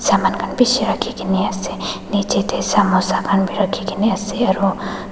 jaman khan bishi rakhikena ase nichae tae samosa khan bi rakhi kae na ase aro.